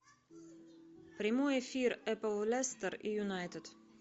прямой эфир апл лестер и юнайтед